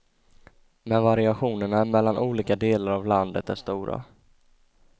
Men variationerna mellan olika delar av landet är stora.